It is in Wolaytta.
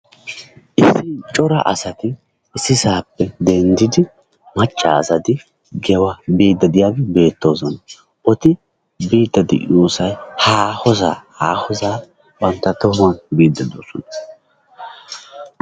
issi coraa asati issisappe denddidi maccasati giya biide diyaage beettoosona. eti biide de'iyoosay haahosaa, haahoosa bantta tohuwan biide doosona.